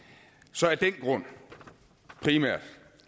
så af den grund primært